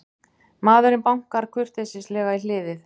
Maðurinn bankar kurteislega í hliðið.